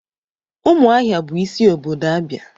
Umuahia bu isi obodo Abia.